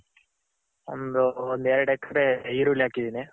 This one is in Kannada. ಒಂದು ಒಂದ್ ಎರಡ್ ಎಕರೆ ಅಲ್ಲಿ ಈರುಳ್ಳಿ ಹಾಕಿದಿನಿ.